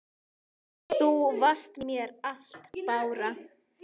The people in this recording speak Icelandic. Þú varst mér allt, Bára.